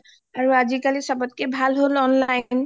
আৰু আজিকালি ছবতকে ভাল হ'ল online